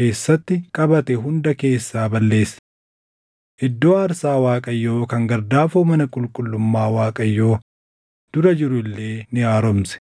keessatti qabate hunda keessaa balleesse. Iddoo aarsaa Waaqayyoo kan gardaafoo mana qulqullummaa Waaqayyoo dura jiru illee ni haaromse.